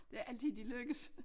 Det er ikke altid de lykkes